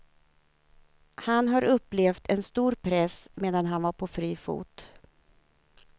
Han har upplevt en stor press medan han var på fri fot.